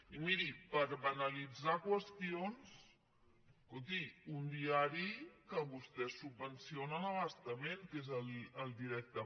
i miri per banalitzar qüestions escolti un diari que vostès subvencionen a bastament que és el directe